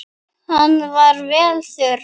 Hann var vel þurr.